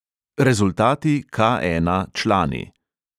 Rezultati - K ena, člani.